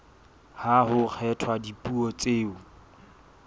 ha ho kgethwa dipuo tseo